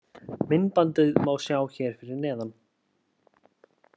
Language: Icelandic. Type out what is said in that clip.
Myndbandið má sjá hér fyrir neðan